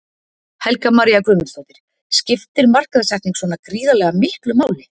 Helga María Guðmundsdóttir: Skiptir markaðssetning svona gríðarlega miklu máli?